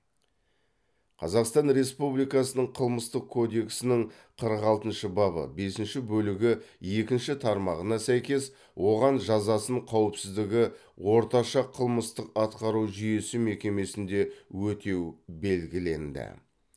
қазақстан республикасының қылмыстық кодексінің қырық алтыншы бабы бесінші бөлігі екінші тармағына сәйкес оған жазасын қауіпсіздігі орташа қылмыстық атқару жүйесі мекемесінде өтеу белгіленді